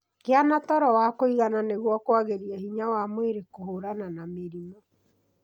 Gia na toro wa kũĩgana nĩguo kwagĩria hinya wa mwĩrĩ kũhũrana na mĩrimũ.